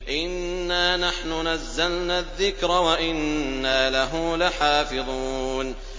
إِنَّا نَحْنُ نَزَّلْنَا الذِّكْرَ وَإِنَّا لَهُ لَحَافِظُونَ